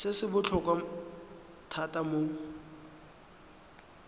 se se botlhokwa thata mo